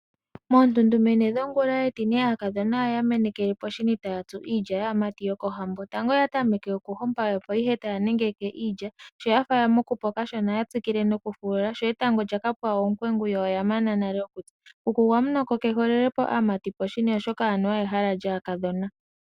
Moontuntumene dhongula yetine aakadhona oyamenekele poshini tayatsu iilya yaamati yokohambo. Tango oya tameke oku hompa opo ihe taya nengeke iilya, Sho yafa yamukupo kashona oya tsikile noku fulula sho etango lyakapwa oopwengu yo oyamana nale okutsa. Kuku gwamunoko keholelepo aamati poshini oshoka anuwa ehala lyaakadhona.